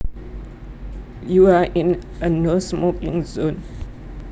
You are in a no smoking zone